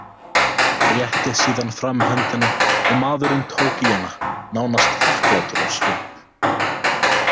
Rétti síðan fram höndina og maðurinn tók í hana, nánast þakklátur á svip.